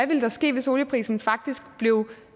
ville ske hvis olieprisen faktisk